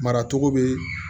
Maracogo bɛ